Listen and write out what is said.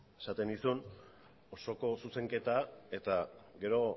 esaten nizun osoko zuzenketa eta gero